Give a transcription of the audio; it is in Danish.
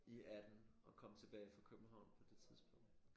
I 18 og kom tilbage fra København på det tidspunkt